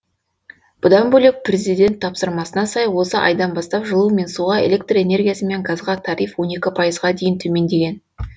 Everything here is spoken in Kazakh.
бұдан бөлек президент тапсырмасына сай осы айдан бастап жылу мен суға электр энергиясы мен газға тариф он екі пайызға дейін төмендеген